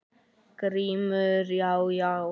GRÍMUR: Já, já!